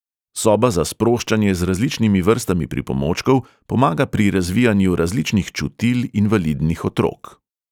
Soba za sproščanje z različnimi vrstami pripomočkov pomaga pri razvijanju različnih čutil invalidnih otrok.